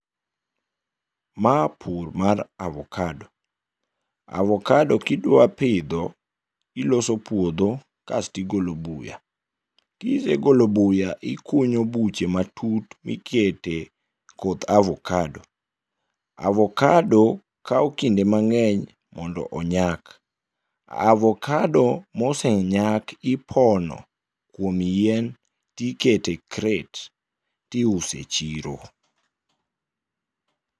Ma pur mar avokado, avokado ka idwa pidho iloso puodho kasto igolo buya, ka isegolo buya to ikunyo buche matut mikete koth avokado. Avokado kawo kinde mang'eny mondo onyak. Avokado mosenyak ipono to iketo e kret to iuso e chiro.